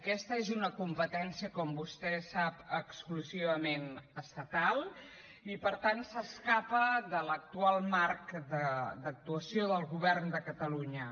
aquesta és una competència com vostè sap exclusivament estatal i per tant s’escapa de l’actual marc d’actuació del govern de catalunya